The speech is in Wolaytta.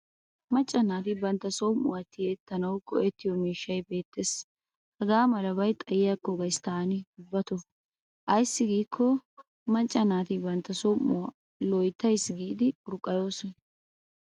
Macca naati bantta som'uwaa tiyettanawu go'ettiyo miishshay beettes. Hagaa malabay xayikko gayis taani ubbatoo ayssi giikko macca naati bantta som'uwaa loyttayis giidi urqqayoosona.